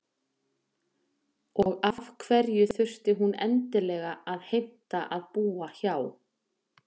Og af hverju þurfti hún endilega að heimta að búa hjá